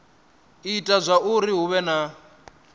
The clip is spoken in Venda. ita zwauri hu vhe na